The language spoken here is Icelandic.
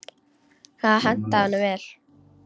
Það hentaði honum vel.